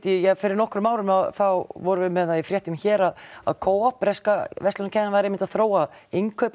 fyrir nokkrum árum þá vorum við með það í fréttum hér að að breska verslunarkeðjan væri einmitt að þróa